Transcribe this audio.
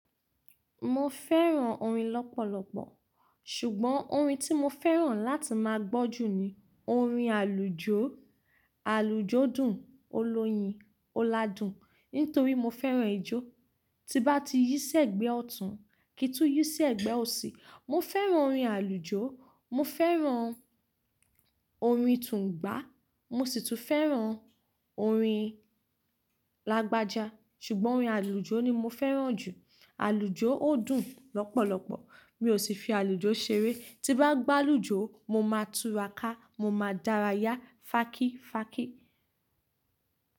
Mo fẹ́ràn orin lọ́pọ̀lọpọ̀, ṣùgbọ́n orin tí mo fẹ́ràn láti máa gbọ́ jù ni orin àlùjó Àlùjó dùn, ó lóyin, ó ládùn. Nítorí mo fẹ́ràn ijó. Tí bá ti yí sẹ́gbẹ̀ẹ́ ọ̀tún, ki n tún yí sí ẹ́gbẹ́ òsì. Mo fẹ́ràn orin àlùjọ, mo fẹ́ràn orin tùngbá, mo sì tún fẹ́ràn orin lágbájá, ṣùgbọ́n orin àlùjó ni mo fẹ́ràn jù. Àlùjó ó dùn lọ́pọ̀lọpọ̀, mi ò sì fi àlùjó ṣeré. Tí bá gbá'lùjó, mo máa túra ká, mo máa dárayá, fákí fákí.